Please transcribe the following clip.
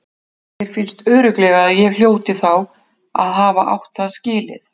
Þér finnst örugglega að ég hljóti þá að hafa átt það skilið.